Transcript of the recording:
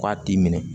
K'a t'i minɛ